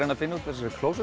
að finna út úr þessari